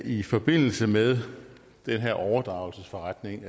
i forbindelse med den her overdragelsesforretning